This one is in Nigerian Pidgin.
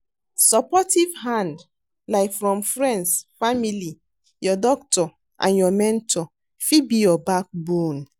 Supportive hand, like from friends, family, your doctor and your mentor fit be your backbone.